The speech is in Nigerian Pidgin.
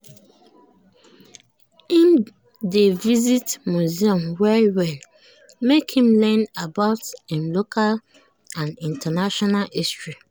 im dey visit museum well-well make him learn about im local and international history.